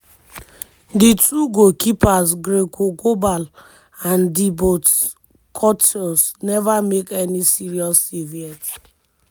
the two goalkeepers and dibot courtos neva make any save yet.